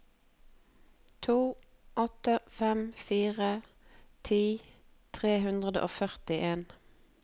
to åtte fem fire ti tre hundre og førtien